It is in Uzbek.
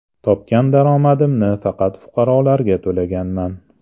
Topgan daromadimni faqat fuqarolarga to‘laganman.